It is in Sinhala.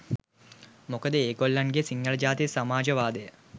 මොකද ඒ ගොල්ලන්ගේ සිංහළ ජාතික සමාජවාදය